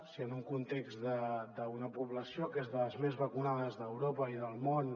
si en un context d’una població que és de les més vacunades d’europa i del món